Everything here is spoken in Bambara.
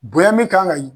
Bonya min kan ka